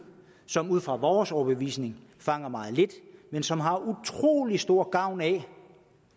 som ud fra vores overbevisning fanger meget lidt men som har utrolig stor gavn af